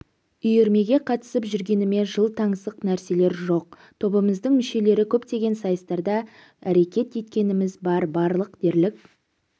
үйірмеге қатысып жүргеніме жыл таңсық нрселер жоқ тобымыздың мүшелері көптеген сайыстарда рекет еткеніміз бар барлық дерлік